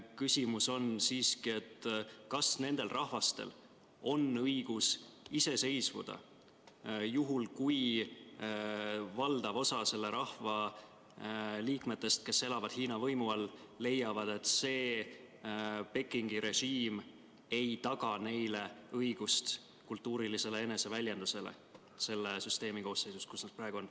Küsimus on, kas nendel rahvastel on õigus iseseisvuda juhul, kui valdav osa ühest või teisest rahvast, kes elavad Hiina võimu all, leiab, et Pekingi režiim ei taga neile õigust kultuurilisele eneseväljendusele selle riigi koosseisus, kus nad praegu on.